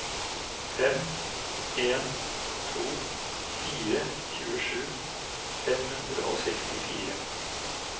fem en to fire tjuesju fem hundre og sekstifire